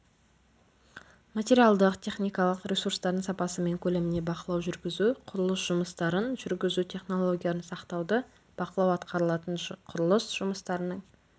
материалдық-техникалық ресурстардың сапасы мен көлеміне бақылау жүргізу құрылыс жұмыстарын жүргізу технологияларын сақтауды бақылау атқарылатын құрылыс жұмыстарының